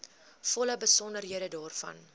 volle besonderhede daarvan